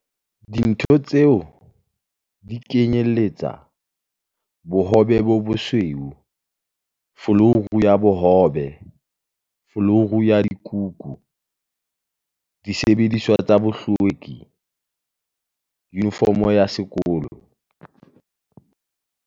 Dintho tseo di kenyelletsa- l Bohobe bo bosweu l Folouru ya bohobel Folouru ya dikukusil Disebediswa tsa bohlwekil Yunifomo ya sekolol